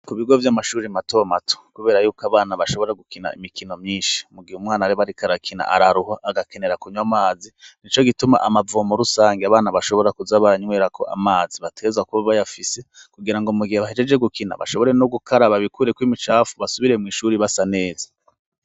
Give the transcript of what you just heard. Ku bigo by'amashuri mato mato kubera yuko abana bashobora gukina imikino myinshi, mu gihe umwana aba ariko arakina araruha, agakenera kunywa amazi. Nico gituma amavomo rusangi abana bashobora kuza baranywerako amazi bategerezwa kuba bayafise, kugirango mu gihe bahejeje gukina bashobore no gukaraba bikureko imicafu, basubiree mw'ishuri basa neza.